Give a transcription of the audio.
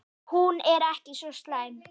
Hún er ekki svo slæm.